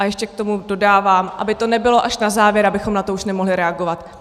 A ještě k tomu dodávám, aby to nebylo až na závěr, abychom na to už nemohli reagovat.